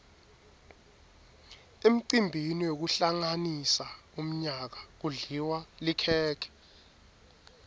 emcimbini wekuhlanganisa umyaka kudliwa likhekhe